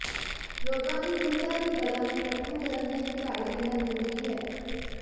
ਰੋਗਾਂ ਦੀ ਸਥਿਰਤਾ ਲਈ ਬਲਾਂ ਨੂੰ ਇਕੱਠਾ ਕਰਨ ਲਈ ਇੱਕ ਝਾੜੀ ਦੇਣਾ ਜਰੂਰੀ ਹੈ